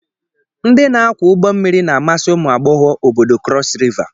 Ndi na-akwọ ụgbọ mmiri na-amasi umụ agbọghọ obodo Cross River.